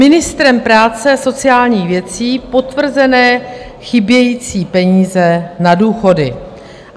Ministrem práce a sociálních věcí potvrzené chybějící peníze na důchody.